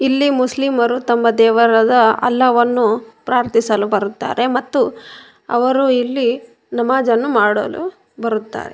ಇಲ್ಲಿ ಮುಸ್ಲಿಮರು ತಮ್ಮ ದೇವರಾದ ಅಲ್ಲಹುವನ್ನು ಪ್ರಾರ್ಥಿಸಲು ಬರುತ್ತಾರೆ ಮತ್ತು ಅವರು ಇಲ್ಲಿ ನಮಾಝ್ ಅನ್ನು ಮಾಡಲು ಬರುತ್ತಾರೆ.